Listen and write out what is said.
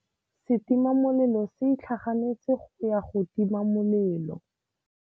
Setima molelô se itlhaganêtse go ya go tima molelô.